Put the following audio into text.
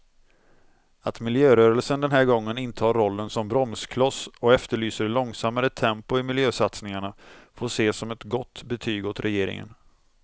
Att miljörörelsen den här gången intar rollen som bromskloss och efterlyser långsammare tempo i miljösatsningarna får ses som ett gott betyg åt regeringen.